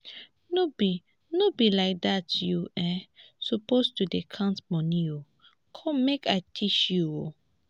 no be no be like dat you um suppose to dey count money come make i teach you